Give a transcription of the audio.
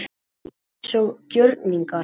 Hún var eins og gjörningar.